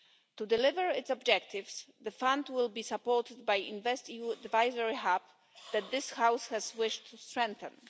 To deliver its objectives, the fund will be supported by InvestEU's advisory hub that this House wants to strengthen.